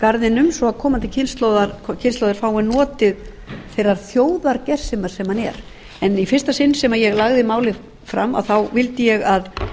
viðhalda garðinum svo að komandi kynslóðir fái notið þeirrar þjóðargersemar sem hann er í fyrsta sinn sem ég lagði málið fram vildi ég að